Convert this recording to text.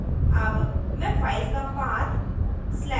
अब मैं file का path